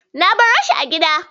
Na baroshi a gida.